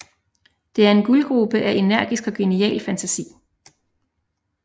Det er en guldgrube af energisk og genial fantasi